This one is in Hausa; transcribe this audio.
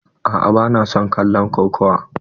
A'a ba na son kallon kokawa.